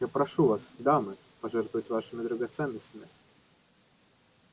я прошу вас дамы пожертвовать вашими драгоценностями